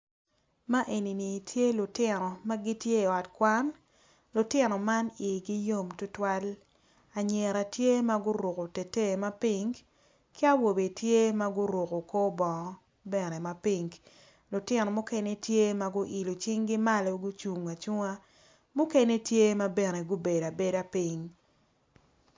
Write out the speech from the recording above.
Man eni tye lutino ma gitye i ot kwan, lutino ma igi yom adada anyira tye ma guruko teteyi ma pink ka awobe bene tye ma oruko kor bongo mapink lutino mukene tye ma guilo cingi malo ma gucung acunga.